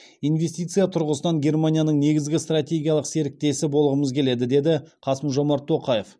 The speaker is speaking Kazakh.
инвестиция тұрғысынан германияның негізгі стратегиялық серіктесі болғымыз келеді деді қасым жомарт тоқаев